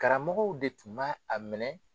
Karamɔgɔw de tun ba a minɛ.